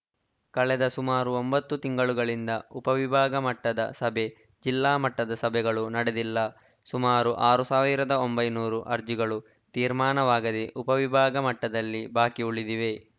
ಕಳೆದ ಸುಮಾರು ಒಂಬತ್ತು ತಿಂಗಳುಗಳಿಂದ ಉಪವಿಭಾಗಮಟ್ಟದ ಸಭೆ ಜಿಲ್ಲಾ ಮಟ್ಟದ ಸಭೆಗಳು ನಡೆದಿಲ್ಲ ಸುಮಾರು ಆರ್ ಸಾವಿರದ ಒಂಬೈನೂರು ಅರ್ಜಿಗಳು ತೀರ್ಮಾನವಾಗದೇ ಉಪವಿಭಾಗಮಟ್ಟದಲ್ಲಿ ಬಾಕಿ ಉಳಿದಿವೆ